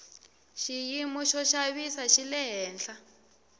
xiyimo xo xavisa xi le hehla